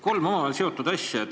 Kolm omavahel seotud asja.